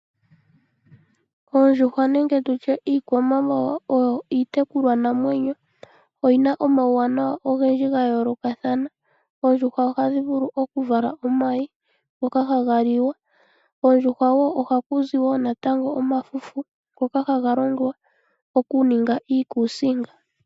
Oondjuhwa nenge iikwamawawa oyo iitekulwanamwenyo . Oyina omauwanawa ogendji gayoolokathana . Oondjuhwa ohadhi vulu okuvala omayi ngoka haga liwa. Koondjuhwa ohaku zi wo natango omafufu ngoka haga longwa okuninga iikusinga.